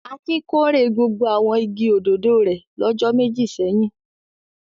Akin kórè gbogbo àwọn igi òdòdó rẹ̀ lọ́jọ́ méjì sẹ́yìn.